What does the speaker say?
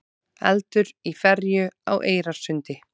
Eldur í ferju á Eyrarsundi